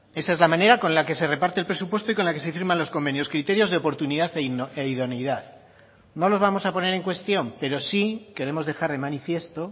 esa es la manera con la que se reparte el presupuesto y con la que se firman los convenios criterios de oportunidad e idoneidad no los vamos a poner en cuestión pero sí queremos dejar de manifiesto